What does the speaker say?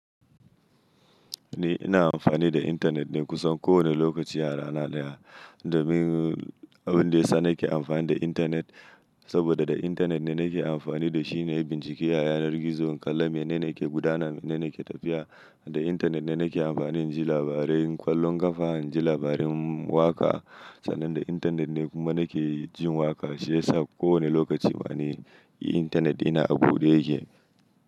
Ni ina amfani da intanet ne kusan kowane lokaci a rana daya. Domin abin da ya sa nake amfani da intanet, saboda da intanet ne nake amfani da shi ne ya bincike a yanar gizo, kalla menene ke gudana, menene ke tafiya. Da intanet ne nake amfani in ji labarai, kollon kafa in ji labarai waka. San nan da internet ne kuma nakejin waka shi yasa kowa ne lokaci internet dina abude yake.